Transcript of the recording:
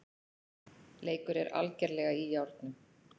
Leikur er algerlega í járnum